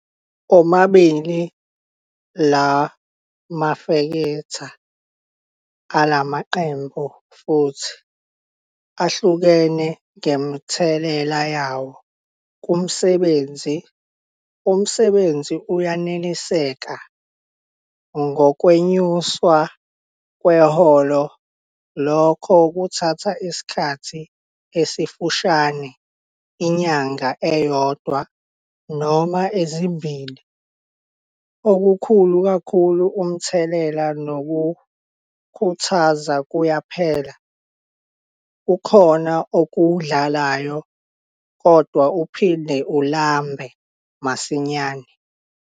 Omabili la mafektha alamaqembu futhi ahlukene ngemithelela yawo kumsebenzi. Umsebenzi uyeneliseka ngokwenyuswa kweholo lokho kuthatha isikhathi esifushane inyanga eyodwa noma ezimbili - okukhulu kakhulu, umthelela nokukhuthaza kuyaphela. Kukhona okudlayo, kodwa uphinde ulambe futhi masinyane.